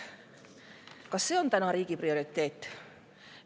Kas see on riigi prioriteet?